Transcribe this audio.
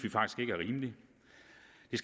vi